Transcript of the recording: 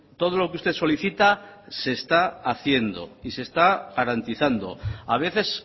todo lo que usted solicita se está haciendo y se está garantizando a veces